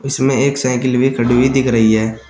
इसमें एक साइकिल भी खड़ी हुई दिख रही है।